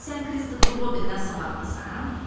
Sən Kristofer Robindən savaddısan?